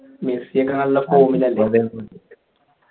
മെസ്സിയൊക്കെ നല്ല form ലല്ലേ